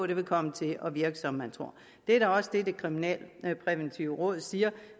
det vil komme til at virke som man tror det er også det det kriminalpræventive råd siger